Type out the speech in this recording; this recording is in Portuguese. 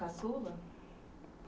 Caçula?